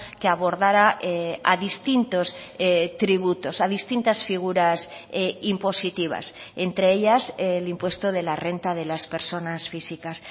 que abordara a distintos tributos a distintas figuras impositivas entre ellas el impuesto de la renta de las personas físicas